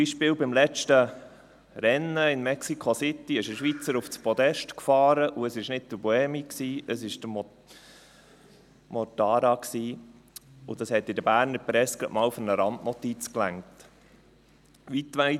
– Beispielsweise fuhr beim letzten Rennen in Mexiko City ein Schweizer auf das Podest, und es war nicht Buemi, sondern Mortara, und das hat in der Berner Presse gerade einmal für eine Randnotiz ausgereicht.